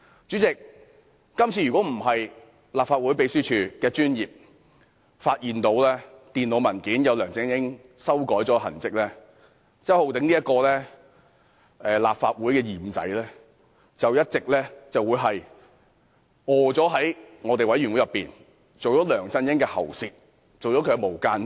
主席，如果不是因為立法會秘書處的專業，發現電腦文件上有梁振英修改的痕跡，周浩鼎議員這名立法會的"二五仔"便會一直在專責委員會做梁振英的喉舌，做"無間道"。